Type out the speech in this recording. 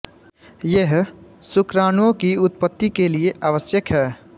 यह शुक्राणुओं की उत्पत्ति के लिए आवश्यक है